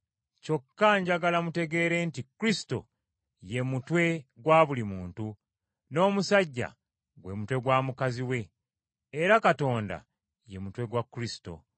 Kyokka njagala mutegeere nti Kristo ye mutwe gwa buli muntu, n’omusajja gwe mutwe gwa mukazi we. Era Katonda ye mutwe gwa Kristo.